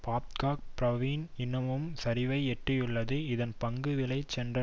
Babcock Brown இன்னமும் சரிவை எட்டியுள்ளது இதன் பங்கு விலை சென்ற